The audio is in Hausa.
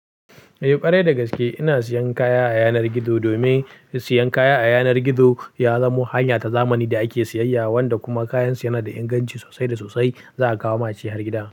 Eh ƙwarai da gaske, ina siyan kaya a yanar gizo domin siyan kaya a yanar gizo ya zamo hanya ta zamani da ake siyayya, wanda kuma kayan su yana da inganci sosai da sosai, za a kawo ma shi har gida.